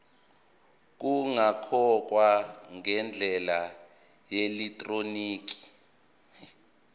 kungakhokhwa ngendlela yeelektroniki